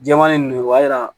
Jɛman ni nin b'a yira